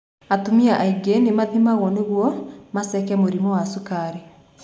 Atumia aingĩ nĩ mathimagwo nĩguo maceko mũrimũ wa sukari